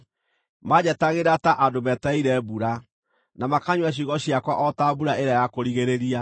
Maanjetagĩrĩra ta andũ metereire mbura, na makanyua ciugo ciakwa o ta mbura ĩrĩa ya kũrigĩrĩria.